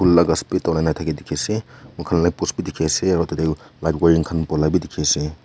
phool laga speed tola na dekhi se upor te post bhi dekhi se tarte light bhi dekhi ase.